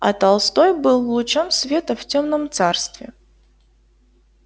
а толстой был лучом света в тёмном царстве